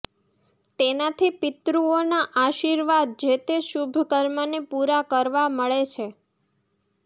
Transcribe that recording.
તેનાથી પિતૃઓના આશિર્વાદ જે તે શુભ કર્મને પૂરા કરવા મળે છે